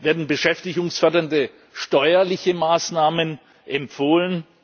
Werden beschäftigungsfördernde steuerliche Maßnahmen empfohlen?